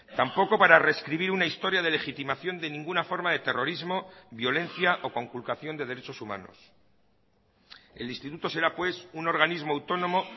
tampoco para rescribir una historia de legitimación de ninguna forma de terrorismo violencia o conculcación de derechos humanos el instituto será pues un organismo autónomo